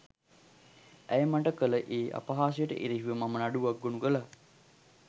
ඇය මට කළ ඒ අපහාසයට එරෙහිව මම නඩුවක් ගොනු කළා